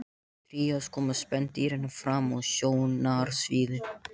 Á trías koma spendýrin fram á sjónarsviðið.